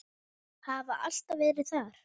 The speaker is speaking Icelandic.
Hafa alltaf verið það.